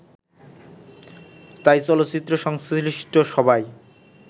তাই চলচ্চিত্র সংশ্লিষ্ট সবাই